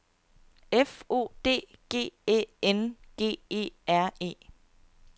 F O D G Æ N G E R E